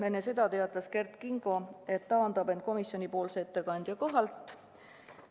Enne seda teatas Kert Kingo, et taandab end komisjonipoolse ettekandja kohalt.